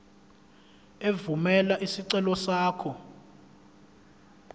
evumela isicelo sakho